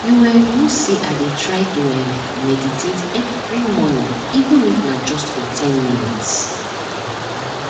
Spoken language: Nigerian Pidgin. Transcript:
you um know say i dey try to um meditate every morning even if na just for ten minutes